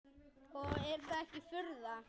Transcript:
Og er það ekki furða.